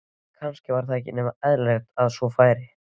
En kannski var ekki nema eðlilegt að svo færi.